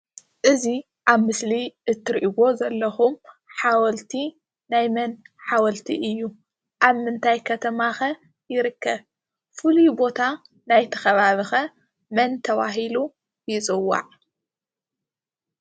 እዚ ኣብ ምስሊ እትርእይዎ ዘለኩም ሓወልቲ ናይ መን ሓወልቲ እዩ ? ኣብ ምንታይ ከተማኸ ይርከብ? ፍሉይ ቦታ ናይቲ ኸበቢ ኸ መን ተበሂሉ ይፅዋዕ?